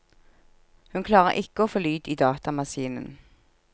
Hun klarer ikke å få lyd i datamaskinen.